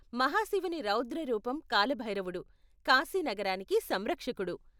మహాశివుని రౌద్ర రూపం కాల భైరవుడు, కాశి నగరానికి సంరక్షకుడు.